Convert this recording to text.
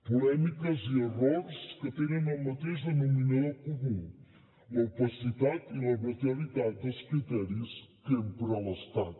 polèmiques i errors que tenen el mateix denominador comú l’opacitat i l’arbitrarietat dels criteris que empra l’estat